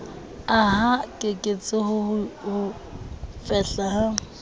aha keketseho ya ho fehla